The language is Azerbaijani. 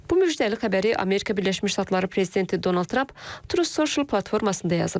Bu müjdəli xəbəri Amerika Birləşmiş Ştatları prezidenti Donald Tramp Tru Social platformasında yazıb.